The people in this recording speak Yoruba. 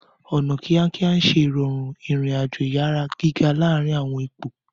Ọna kiakia n ṣe irọrun irin-ajo iyara giga laarin awọn ipo.